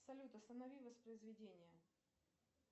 салют останови воспроизведение